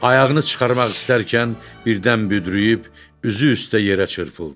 Ayağını çıxarmaq istərkən birdən büdrüyüb üzü üstə yerə çırpıldı.